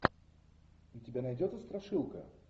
у тебя найдется страшилка